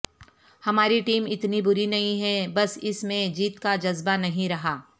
ہماری ٹیم اتنی بری نہیں ہے بس اس میں جیت کا جذبہ نہیں رہا